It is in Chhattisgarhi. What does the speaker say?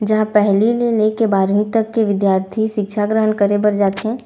जहाँ पहली ले लेके बारहवीं तक के विद्यार्थी शिक्षा ग्रहण करे बर जाथे।